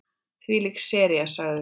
Þvílík sería sagði hún.